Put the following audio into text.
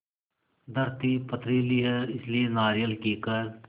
धरती पथरीली है इसलिए नारियल कीकर